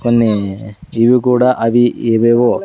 కొన్ని ఇవి కూడా అది ఏవేవో----